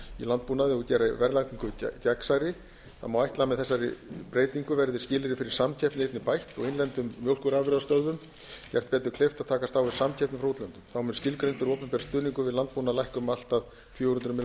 landbúnaði og gera verðlagningu gegnsærri það má ætla að með þessari breytingu verði skilyrði fyrir samkeppni einnig bætt og innlendum mjólkurafurðastöðvum gert betur kleift að takast á við samkeppni frá útlöndum þá mun skilgreindur opinber stuðningur við landbúnað lækka um allt að fjögur hundruð milljóna króna eins og